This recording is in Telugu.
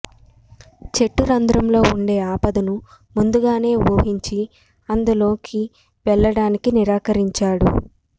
చెట్టు రంధ్రంలో ఉండే ఆపదను ముందుగానే ఊహించి అందులోకి వెళ్ళడానికి నిరాకరించాడు